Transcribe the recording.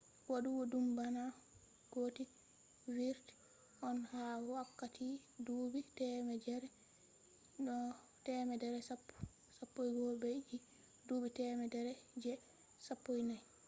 wadugo dum bana gothic vurti on ha wakkati duubi temere je 10 - 11 be je duubi temere je 14